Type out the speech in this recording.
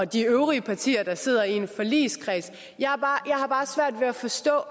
de øvrige partier sidder i en forligskreds jeg har bare svært ved at forstå